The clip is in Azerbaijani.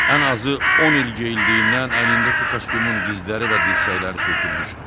Ən azı on il geyildiyindən əynindəki kostyumun dizləri və dirsəkləri sürtülmüşdü.